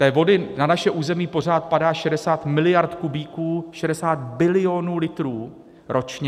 Té vody na naše území pořád padá 60 miliard kubíků, 60 bilionů litrů ročně.